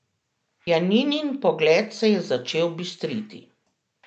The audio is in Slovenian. Janinin pogled se je začel bistriti.